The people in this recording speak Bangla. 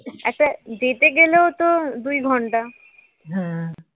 একটা যেতে গেলেও তো দুঘণ্টা